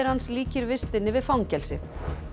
hans líkir vistinni við fangelsi